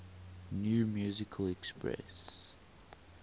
new musical express